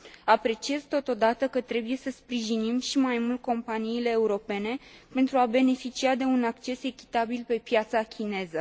Apreciez totodată că trebuie să sprijinim și mai mult companiile europene pentru a beneficia de un acces echitabil pe piața chineză.